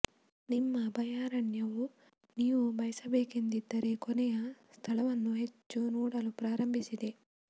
ನಿಮ್ಮ ಅಭಯಾರಣ್ಯವು ನೀವು ಬಯಸಬೇಕೆಂದಿರುವ ಕೊನೆಯ ಸ್ಥಳವನ್ನು ಹೆಚ್ಚು ನೋಡಲು ಪ್ರಾರಂಭಿಸಿದೆ